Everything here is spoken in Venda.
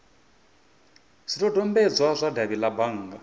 zwidodombedzwa zwa davhi la bannga